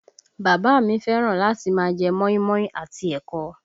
Bàbá a mi fẹ́ràn láti máa jẹ́ móímóí àti ẹ̀kọ